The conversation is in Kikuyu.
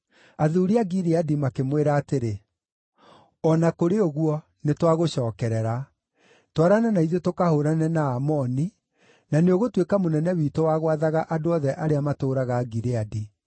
Athuuri a Gileadi makĩmwĩra atĩrĩ, “O na kũrĩ ũguo, nĩtwagũcookerera; twarana na ithuĩ tũkahũũrane na Aamoni, na nĩũgũtuĩka mũnene witũ wa gwathaga andũ othe arĩa matũũraga Gileadi.”